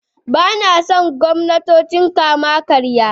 Ba na son gwamnatocin kama-karya.